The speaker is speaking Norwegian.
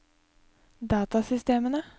datasystemene